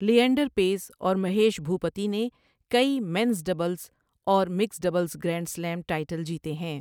lander Paes اور مہیش بھوپتی نے کئی مینس ڈبلز اور mixed doubles grand slam title جیتے ہیں